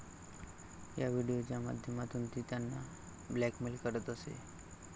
या व्हिडिओच्या माध्यमातून ती त्यांना ब्लॅकमेल करत असे.